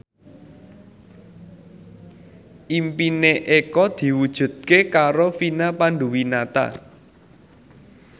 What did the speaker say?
impine Eko diwujudke karo Vina Panduwinata